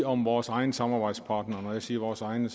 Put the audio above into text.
om vores egne samarbejdspartnere når jeg siger vores egne